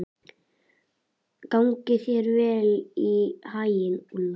Gangi þér allt í haginn, Úlla.